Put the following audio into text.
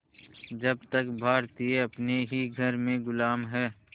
जब तक भारतीय अपने ही घर में ग़ुलाम हैं